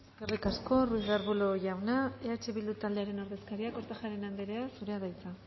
eskerrik asko ruiz de arbulo jauna eh bildu taldearen ordezkaria kortajarena andrea zurea da hitza